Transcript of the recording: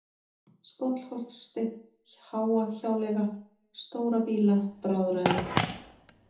Skollholtssteinn, Háahjáleiga, Stóra-Býla, Bráðræði